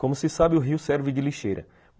Como se sabe, o rio serve de lixeira.